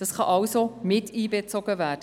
Das kann, wie gesagt, mit einbezogen werden.